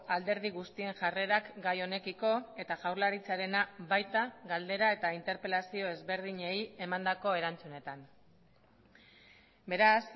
alderdi guztien jarrerak gai honekiko eta jaurlaritzarena baita galdera eta interpelazio ezberdinei emandako erantzunetan beraz